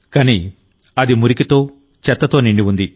కానీ అది మురికితో చెత్తతో నిండి ఉంది